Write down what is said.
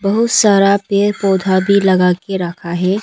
बहुत सारा पेड़ पौधा भी लगा के रखा है।